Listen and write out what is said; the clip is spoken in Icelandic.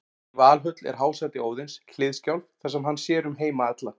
Í Valhöll er hásæti Óðins, Hliðskjálf, þar sem hann sér um heima alla.